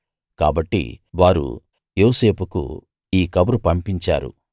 కాబట్టి వారు యోసేపుకు ఈ కబురు పంపించారు